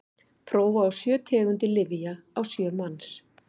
prófa á sjö tegundir lyfja á sjö manns